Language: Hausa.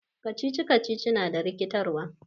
Riddles is confusing.